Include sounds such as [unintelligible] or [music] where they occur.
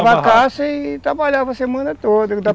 [unintelligible] a caça e trabalhava a semana toda.